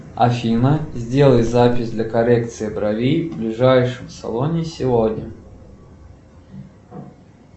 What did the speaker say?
афина сделай запись для коррекции бровей в ближайшем салоне сегодня